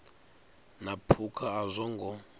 na phukha a zwo ngo